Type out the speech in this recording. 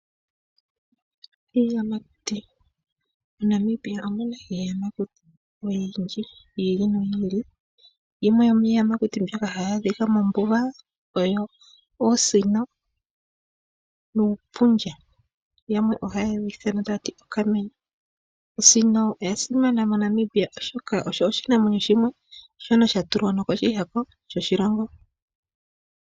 Iiyamakuti, moNamibia omuna iiyamakuti oyindji yi ili noyi ili, yimwe yomiiyamakuti mbyoka hayi adhika mombuga oyo oosino nuupundja. Yamwe ohaye wu ithana taati okamenye. Osino oya simana moNamibia oshoka osho shinamwenyo shimwe shono sha tulwa nokoshihako shoshilongo.